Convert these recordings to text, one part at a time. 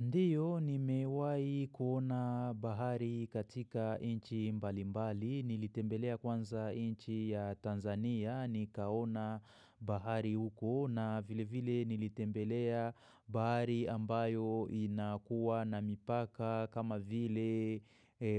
Ndiyo ni mewai kuona bahari katika nchi mbalimbali, nilitembelea kwanza nchi ya Tanzania, nikaona bahari huko na vile vile nilitembelea bahari ambayo inakuwa na mipaka kama vile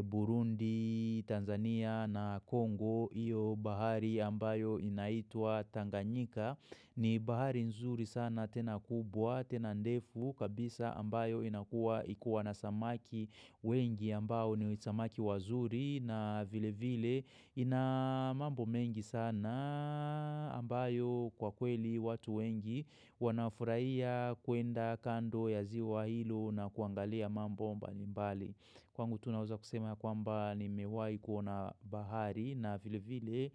Burundi, Tanzania na Kongo, iyo bahari ambayo inaitwa Tanganyika. Ni bahari nzuri sana tena kubwa, tena ndefu kabisa ambayo inakua ikuwa na samaki wengi ambao ni samaki wazuri na vile vile ina mambo mengi sanaaaa ambayo kwa kweli watu wengi wanafurahia kuenda kando ya ziwa hilo na kuangalia mambo mbali mbali. Kwangu tunaweza kusema ya kwamba nimewahi kuna bahari na vile vile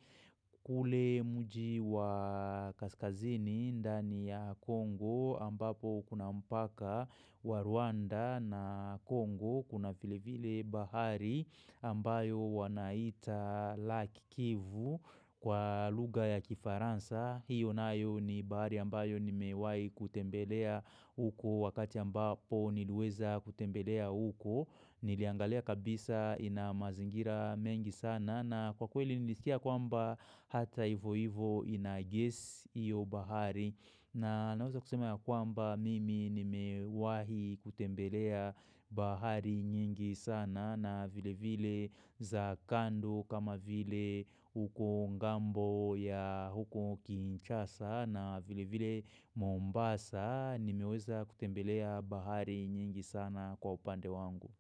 kule mji wa Kaskazini ndani ya Kongo ambapo kuna mpaka wa Rwanda na Kongo kuna vile vile bahari ambayo wanaita Laki kivu kwa lugha ya kifaransa. Hiyo nayo ni bahari ambayo nimeiwahi kutembelea uko wakati ambapo nileweza kutembelea uko. Niliangalia kabisa ina mazingira mengi sana na kwa kweli nilisikia kwamba hata ivo ivo ina gesi iyo bahari. Na naweza kusema ya kwamba mimi nimewahi kutembelea bahari nyingi sana na vile vile za kando kama vile huko ngambo ya huko kinchasa na vile vile Mombasa nimeweza kutembelea bahari nyingi sana kwa upande wangu.